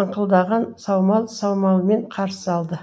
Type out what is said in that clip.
аңқылдаған саумал самалымен қарсы алды